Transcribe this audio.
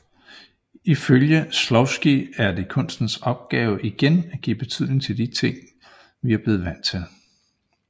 Ifølge Shklovsky er det kunstens opgave igen at give betydning til de ting vi er blevet for vant til